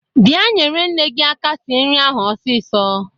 Bịa nyere nne gi aka sir nri ahụ ọsisọ!